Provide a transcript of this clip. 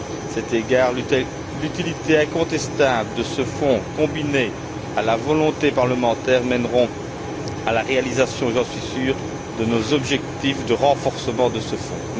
À cet égard, l'utilité incontestable de ce Fonds combinée à la volonté parlementaire mèneront à la réalisation, j'en suis sûr, de nos objectifs de renforcement de ce Fonds.